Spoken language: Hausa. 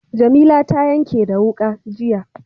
Jamila ta yanke da wuƙa, jiya.